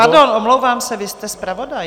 Pardon, omlouvám se, vy jste zpravodaj.